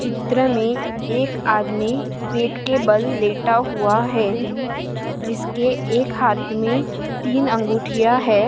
चित्र मे एक आदमी पेट के बल लेटा हुआ है। जिसके एक हात मे तीन अंघुटिया है।